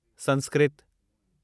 Sanskrit